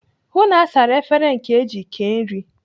Hụụ na asara efere ndị eji kee nri!